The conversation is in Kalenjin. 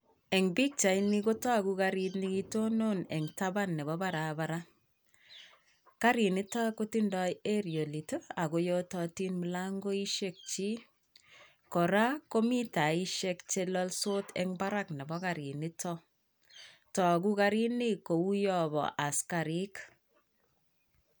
Eng' pichaini kotagu garit nekitonon en tapan nepo barabara. Garit nito kotindoi aerialit ago yototin mulangoishekyik. koraa, komi taisiek che lolsot en barak nepo garit nito. Togu garini kou yo bo asikarik.